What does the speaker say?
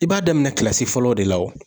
I b'a daminɛ kilasi fɔlɔ de la wo